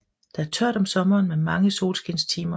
Der er tørt om sommeren med mange solskinstimer